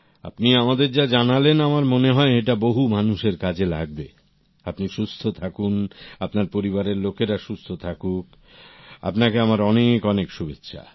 আপনি আমাদের যা জানালেন আমার মনে হয় এটা বহু মানুষের কাজে লাগবে আপনি সুস্থ থাকুন আপনার পরিবারের লোকেরা সুস্থ থাকুক আপনাকে আমার অনেক অনেক শুভেচ্ছা